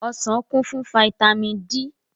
Ọsàn kún fún fataímìn D.